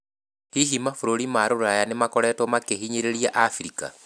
Hihi mabũrũri ma rũraya nĩ makoretwo makĩhinyĩrĩria Abirika?